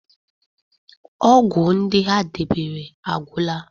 ọgwụ ndị ha debere agwụla